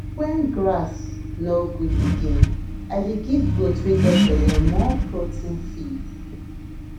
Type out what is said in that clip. when grass no good again i dey give goat wey get belle more protein feed